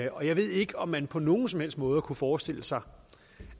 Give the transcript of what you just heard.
og jeg ved ikke om man på nogen som helst måde kunne forestille sig